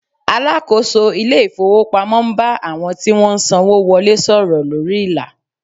Alakoso ile ifowopamo n ba awon ti won n sanwo wole soro lori ila